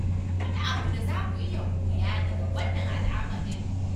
Akwai wani abu da za mu iya koya daga wannan al'amarin